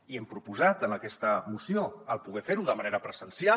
i hem proposat en aquesta moció el poder fer ho de manera presencial